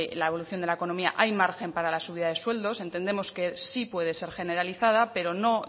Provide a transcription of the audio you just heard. la evolución de la economía hay margen para la subida de sueldos entendemos que sí puede ser generalizada pero no